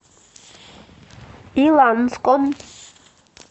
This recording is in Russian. иланском